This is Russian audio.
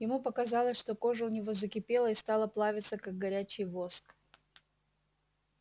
ему показалось что кожа у него закипела и стала плавиться как горячий воск